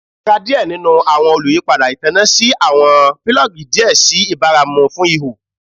A ra diẹ ninu awọn oluyipada itanna si awọn pilogi diẹ sii ibaramu fun iho